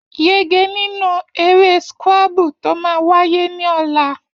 Yege nínú eré scrabble tó máa wáyé ní ọ̀la.